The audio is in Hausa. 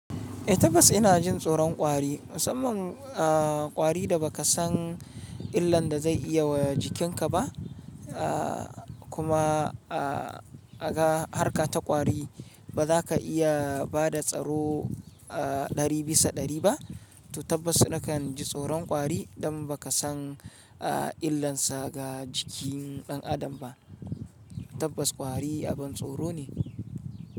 Eh tabbas ina jin tsoron ƙwari musamman a ƙwari da ba ka san illan da zai iya wa jikinka ba a kuma a ga harka ta ƙwari ba za ka iya bada tsaro a ɗari bisa ɗari ba to tabbas na kan ji tsoron ƙwari dan ba ka san illansa ga jikin ɗan adam ba. Tabbas kwari abin tsoro ne.